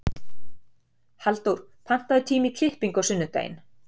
Halldór, pantaðu tíma í klippingu á sunnudaginn.